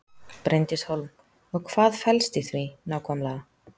Bryndís Hólm: Og hvað felst í því nákvæmlega?